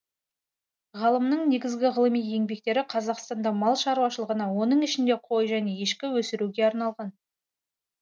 ғалымның негізгі ғылыми еңбектері қазақстанда мал шаруашылығына оның ішінде қой және ешкі өсіруге арналған